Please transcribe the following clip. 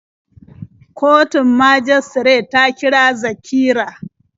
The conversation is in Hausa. Kotun majistare ta kira Zakira.